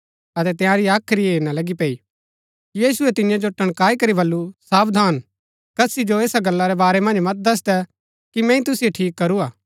अतै तंयारी हाख्री हेरना लगी पैई यीशुऐ तियां जो टणकाई करी बल्लू सावधान कसी जो ऐसा गल्ला रै बारै मन्ज मत दसदै कि मैंई तुसिओ ठीक करूआ